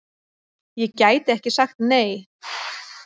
Ég gæti ekki sagt nei!